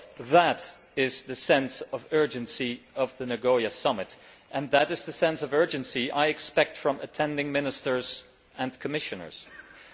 That is the sense of urgency of the Nagoya Summit and that is the sense of urgency I expect from the ministers and commissioners who attend.